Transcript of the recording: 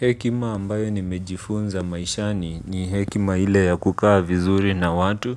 Hekima ambayo ni mejifunza maishani ni hekima ile ya kukaa vizuri na watu